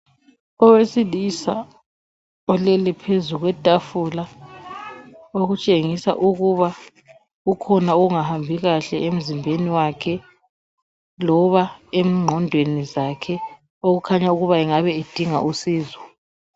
Owesilisa olele phezu kwetafula, okutshengisa ukuba kukhona okungahambi kahle emzimbeni wakhe loba engqondweni zakhe okukhanya ukuba angabe edinga usizo.